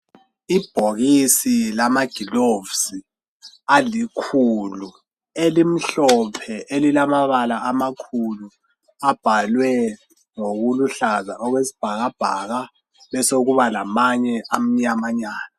Ibhokisi lama gilovisi alikhulu elimhlophe elilamabala amakhulu abhalwe ngokuluhlaza okwesibhakabhaka besokuba lamanye amnyama nyana.